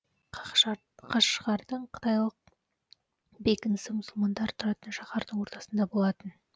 қашғардың қытайлық бекінісі мұсылмандар тұратын шаһардың ортасында болатын